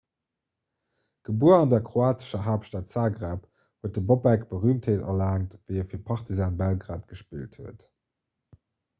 gebuer an der kroatescher haaptstad zagreb huet de bobek berüümtheet erlaangt wéi e fir partizan belgrad gespillt huet